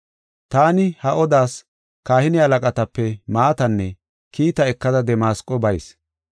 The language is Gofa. “Taani ha odas kahine halaqatape maatanne kiitaa ekada Damasqo bayis.